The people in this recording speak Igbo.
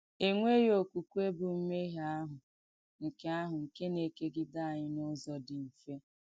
Ènwèghì òkwùkwè bù m̀mèhié àhụ̀ nkè àhụ̀ nkè nà-èkègìdè ànyị̣ n’ùzọ̀ dì mfè.